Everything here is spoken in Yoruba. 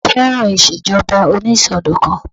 Bàbá mi fẹ́ràn ìṣèjọba onísọdọ̀kan